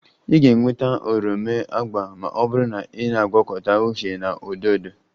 Ị ga-enweta oroma agba ma ọ bụrụ na ị na-agwọkọta uhie na odo odo